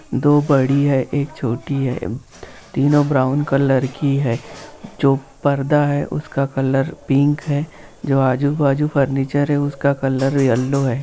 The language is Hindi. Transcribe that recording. दो बड़ी है एक छोटी है तीनो ब्राउन कलर की है जो पर्दा है उसका कलर पिंक है जो आजुबाजु फर्निचर है उसका कलर येलो है ।